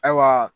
Ayiwa